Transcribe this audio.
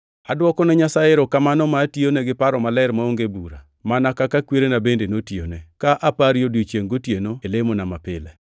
Adwokone Nyasaye erokamano ma atiyone gi paro maler maonge bura, mana kaka kwerena bende notiyone, ka apari odiechiengʼ gotieno e lemona mapile.